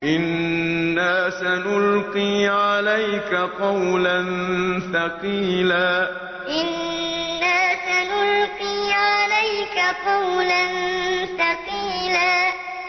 إِنَّا سَنُلْقِي عَلَيْكَ قَوْلًا ثَقِيلًا إِنَّا سَنُلْقِي عَلَيْكَ قَوْلًا ثَقِيلًا